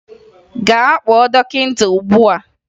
Gaa kpọọ dọkịta ugbua!